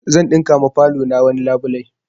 Zan ɗinka ma falo na wani labulai